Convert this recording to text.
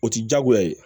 O ti diyagoya ye